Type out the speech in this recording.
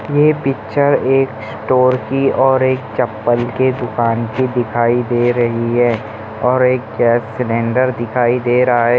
ये पिक्चर एक स्टोर की और एक चप्पल के दुकान की दिखाई दे रही है और गैस सिलिन्डर दिखाई दे रहा है।